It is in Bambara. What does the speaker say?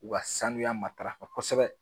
U ka sanuya matarafa kosɛbɛ.